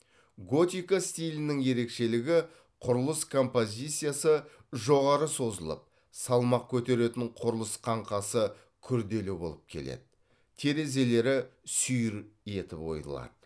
готика стилінің ерекшелігі құрылыс композициясы жоғары созылып салмақ көтеретін құрылыс қаңқасы күрделі болып келеді терезелері сүйір етіп ойылады